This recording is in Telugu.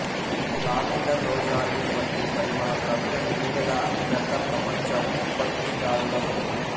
ఇది లావెండర్ రోజ్ ఆయిల్ వంటి పరిమళ ద్రవ్యం నూనెల అతిపెద్ద ప్రపంచ ఉత్పత్తిదారుగా ఉంది